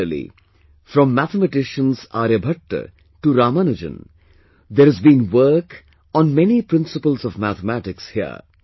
Similarly, from mathematicians Aryabhatta to Ramanujan, there has been work on many principles of mathematics here